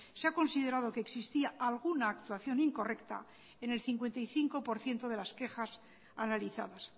se ha considerado que existía alguna actuación incorrecta en el cincuenta y cinco por ciento de las quejas analizadas